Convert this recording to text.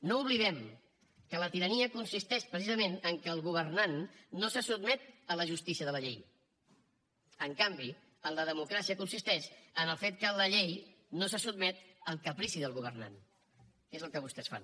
no oblidem que la tirania consisteix precisament que el governant no se sotmet a la justícia de la llei en canvi la democràcia consisteix en el fet que la llei no se sotmet al caprici del governant que és el que vostès fan